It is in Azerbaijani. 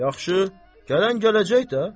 Yaxşı, gələn gələcək də.